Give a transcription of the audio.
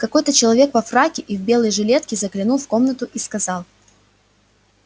какой-то человек во фраке и в белой жилетке заглянул в комнату и сказал